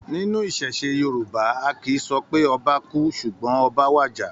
Nínú iṣẹṣe Yorùbá, a kìí sọ pé 'Ọba kú' ṣùgbọ́n 'Oba wàjà'.